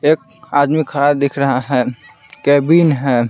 एक आदमी खड़ा दिख रहा है कैबिन है।